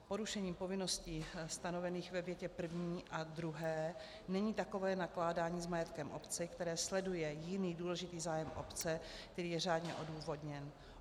Porušení povinností stanovených ve větě první a druhé není takové nakládání s majetkem obce, které sleduje jiný důležitý zájem obce, který je řádně odůvodněn.